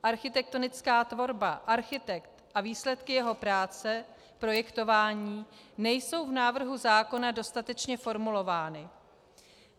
Architektonická tvorba, architekt a výsledky jeho práce, projektování nejsou v návrhu zákona dostatečně formulovány.